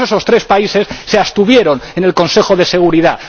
Por eso, esos tres países se abstuvieron en el Consejo de Seguridad.